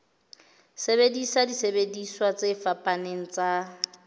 sebedisa disebediswa tse fapaneng tsa